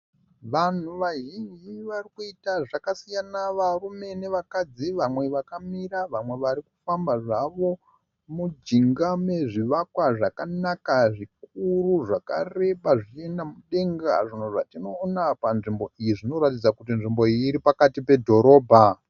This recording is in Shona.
Vanhu vazhinji varikuita zvkasiyana. Varume nevakadzi vamwe vakamira vamwe varikufamba zvavo mujinga mezvivakwa zvakanaka zvikuru zvakareba zvichienda mudenga. Zvinhu zvationoona panzvimbo iyi zvinotaridza kuti nzvimbo iyi iri pakati pedhorobha.